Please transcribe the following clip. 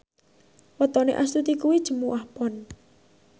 wetone Astuti kuwi Jumuwah Pon